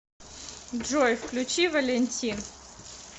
джой включи валентин